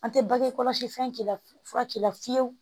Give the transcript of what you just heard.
An tɛ bange kɔlɔsi fɛn k'i la fura k'i la fiyewu